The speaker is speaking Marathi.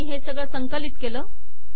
संकलित केले